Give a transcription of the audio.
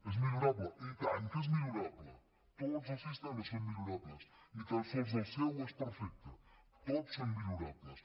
és millorable i tant que és millorable tots els sistemes són millorables ni tan sols el seu és perfecte tots són millorables